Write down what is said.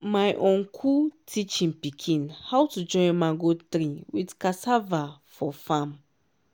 my uncle teach him pikin how to join mango tree with cassava for farm.